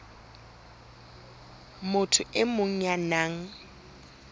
motho e mong ya nang